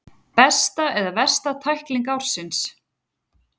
Besta eða versta tækling ársins?